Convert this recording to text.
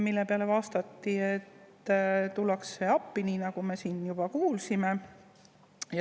Selle peale vastati, et tullakse appi, nii nagu me siin kuulsime.